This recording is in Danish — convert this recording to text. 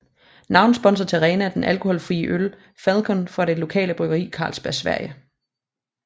Navnsponsor til arenaen er den alkoholfrie øl Falcon fra det lokale bryggeri Carlsberg Sverige